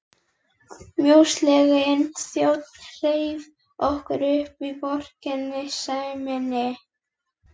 Mjósleginn þjónn hreif okkur upp úr vorkunnseminni.